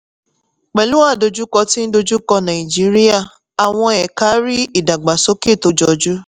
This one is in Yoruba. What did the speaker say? pẹ̀lú àdojúkọ tí ń dojú kọ nàìjíríà àwọn ẹka rí ìdàgbàsókè tó jọjú.